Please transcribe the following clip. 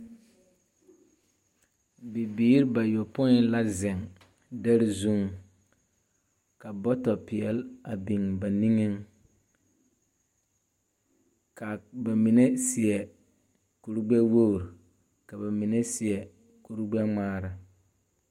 Bibiir bayopoi la zeŋ dɛre zuŋ, ka bɔtɔpeɛl a biŋ ba niŋeŋ. Kaa ba mine seɛ kur-gbɛ-woor, ka ba mine seɛ kur-gbɛ-ŋmaara.